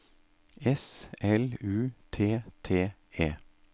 S L U T T E